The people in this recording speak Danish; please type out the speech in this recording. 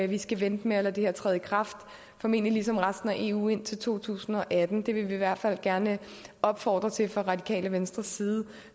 vi skal vente med at lade det her træde i kraft formentlig ligesom resten af eu indtil to tusind og atten det vil vi i hvert fald gerne opfordre til fra det radikale venstres side